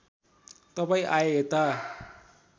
तपाईँ आए यता